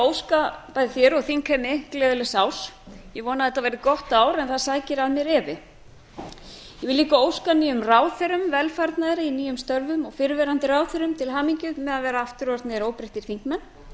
óska bæði þér og þingheimi gleðilegs árs ég vona að þetta verði gott en það sækir að mér efi ég vil líka óska nýjum ráðherrum velfarnaðar í nýjum störfum og fyrrverandi ráðherrum til hamingju með að vera aftur orðnir óbreyttir þingmenn